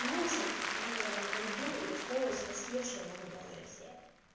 слушайте я наверное пойду и устроюсь кассиршой в макдональдсе